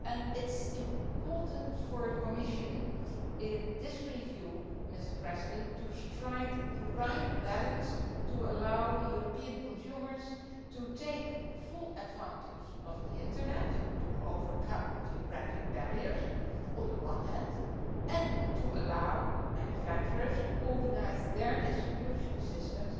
It is important for the Commission, in this review, to strike the right balance to allow European consumers to take full advantage of the Internet to overcome geographical barriers, while at the same time allowing manufacturers to organise their distribution systems